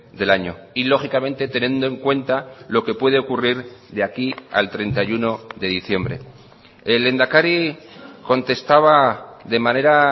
del año y lógicamente teniendo en cuenta lo que puede ocurrir de aquí al treinta y uno de diciembre el lehendakari contestaba de manera